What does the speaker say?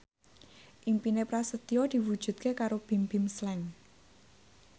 impine Prasetyo diwujudke karo Bimbim Slank